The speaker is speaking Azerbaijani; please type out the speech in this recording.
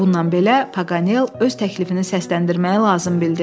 Bununla belə Pakonel öz təklifini səsləndirməyi lazım bildi.